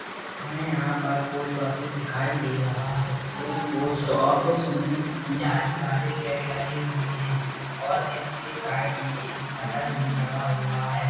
हमें यहाँ पर पोस्ट ऑफिस दिखाई दे रहा है एक पोस्ट ऑफिस मे जीला वाले गेट लगे हुए है और इसके साइड मे एक शटर भी लगा हुआ हैं।